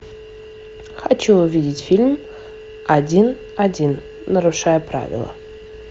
хочу увидеть фильм один один нарушая правила